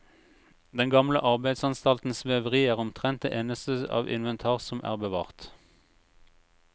Den gamle arbeidsanstaltens veveri er omtrent det eneste av inventar som er bevart.